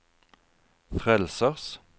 frelsers